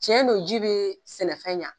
Tiɲɛ don ji bɛ sɛnɛfɛn ɲɛ